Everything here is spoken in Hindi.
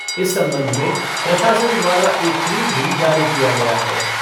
इस संबंध में प्रशासन द्वारा एक ट्वीट भी जारी किया गया है।